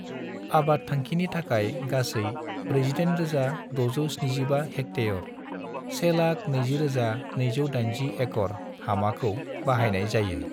आबाद थांखिनि थाखाय गासै 48,675 हेक्टेयर (120,280 एकड़) हामाखौ बाहायनाय जायो।